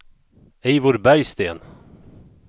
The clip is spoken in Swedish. Eivor Bergsten